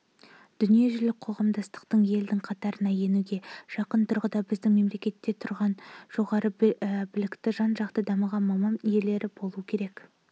дүниежүзілік қоғамдастықтың елдің қатарына енуге жақын тұрғанда біздің мемлекетте жоғары білікті жан-жақы дамыған маман иелері болу керек